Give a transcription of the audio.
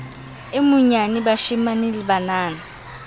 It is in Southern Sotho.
e monyane bashemane le banana